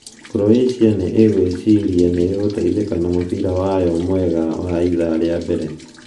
Croatia nĩ ĩgwĩciria nĩ ĩgũteithĩka na mũbira wayo mwega wa ithaa rĩa mbere.